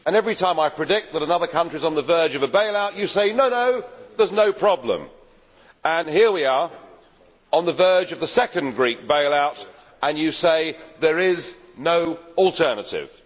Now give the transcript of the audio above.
Mr Barroso, every time I predict that another country is on the verge of a bail out you say, no no, there is no problem'. Here we are, on the verge of the second Greek bail out, and you say, there is no alternative'.